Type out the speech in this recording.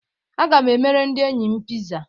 Aga m emere ndị enyi m Pizza.